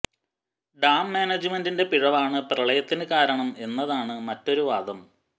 dam മാനേജ്മെന്റിന്റെ പിഴവാണ് പ്രളയത്തിന് കാരണം എന്നതാണ് മറ്റൊരു വാദം